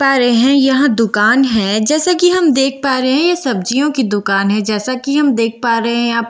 पा रहे हैं यहां दुकान है जैसा कि हम देख पा रहे हैं यह सब्जियों की दुकान है जैसा कि हम देख पा रहे हैं यहां पटर कुंदरू--